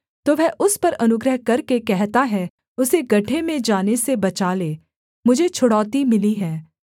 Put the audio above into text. तो वह उस पर अनुग्रह करके कहता है उसे गड्ढे में जाने से बचा ले मुझे छुड़ौती मिली है